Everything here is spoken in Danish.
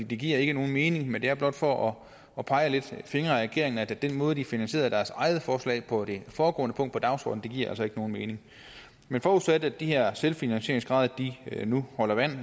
det giver ikke nogen mening men det er blot for at pege lidt fingre ad regeringen nemlig at den måde de finansierede deres eget forslag på på det foregående punkt på dagsordenen altså ikke giver nogen mening men forudsat at de her selvfinansieringsgrader nu holder vand